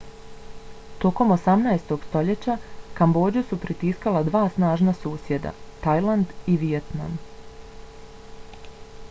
tokom 18. stoljeća kambodžu su pritiskala dva snažna susjeda - tajland i vijetnam